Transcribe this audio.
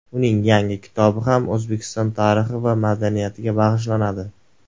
Uning yangi kitobi ham O‘zbekiston tarixi va madaniyatiga bag‘ishlanadi.